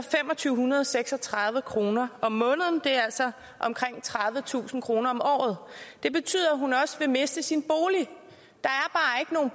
to hundrede og seks og tredive kroner om måneden altså omkring tredivetusind kroner om året det betyder at hun også vil miste sin